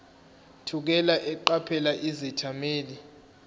thukela eqaphela izethameli